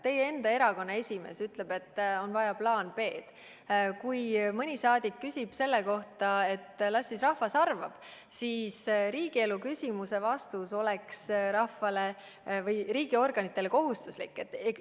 Teie enda erakonna esimees ütleb, et on vaja plaani B. Kui mõni rahvasaadik ütleb selle kohta, et las siis rahvas arvab, siis riigielu küsimuse vastus oleks riigiorganitele kohustuslik.